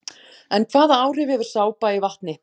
En hvaða áhrif hefur sápa í vatni?